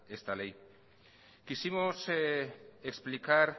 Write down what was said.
esta ley quisimos explicar